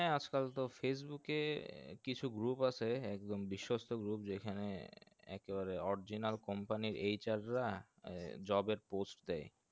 হ্যাঁ আজ কাল তো facebook এ কিছু group আহে একদম বিশ্বস্ত group যেখানে একেবারে original company র HR রা job এর post দেয়